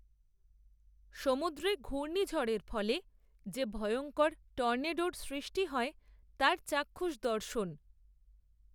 সমুদ্রে ঘূর্ণীঝড়ের ফলে, যে ভয়ঙ্কর টর্নেডোর সৃষ্টি হয়, তার চাক্ষুষ দর্শন